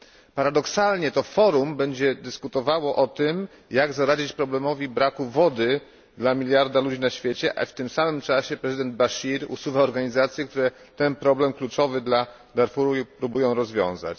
Paradoksalnie to Forum będzie dyskutowało o tym, jak zaradzić problemowi braku wody dla miliarda ludzi na świecie, w tym samym czasie prezydent Baszir usuwa organizacje, które ten kluczowy problem dla Darfuru próbują rozwiązać.